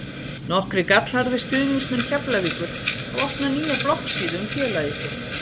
Nokkrir gallharðir stuðningsmenn Keflavíkur hafa opnað nýja bloggsíðu um félagið sitt.